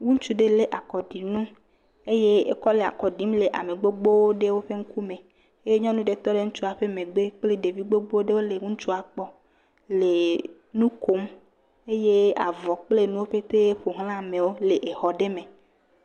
Ŋutsu ɖe lé akɔɖinu eye ekɔ le akɔ ɖim le ame gbogbowo ɖewo ƒe ŋkume, eye nyɔnu aɖe tɔ ɖe ɖeviwo ƒe megbe kple ɖevi gbogbo ɖewo le ŋutsua kpɔm le nu kom eye avɔ kple nuwo ƒetee ƒo ʋlã amewo le exɔ ɖe me.